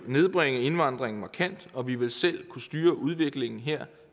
nedbringe indvandringen markant og vi vil selv kunne styre udviklingen her